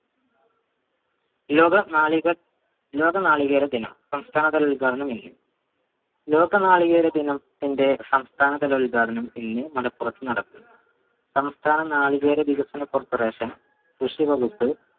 ലോക നാളിക ലോക നാളികേര ദിനം സംസ്ഥാന തല ഉദ്ഘാടനം ഇന്ന് ലോക നാളികേര ദിനം ത്തിന്റെ ഉദ്ഘാടനം ഇന്ന് മലപ്പുറത്ത് നടക്കു സംസ്ഥാനം നാളികേര വികസന corporation കൃഷി വകുപ്പ്